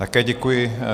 Také děkuji.